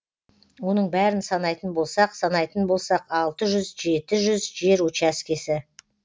оның бәрін санайтын болсақ санайтын болсақ алты жүз жеті жүз жер учаскесі